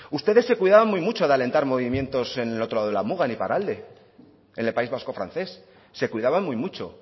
ustedes se cuidaban muy mucho de alentar movimientos en el otro lado de la muga en iparralde en el país vasco francés se cuidaban muy mucho